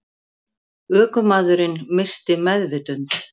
Ökumaðurinn missti meðvitund